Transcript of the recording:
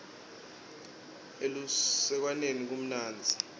elusekwaneni kumnandzi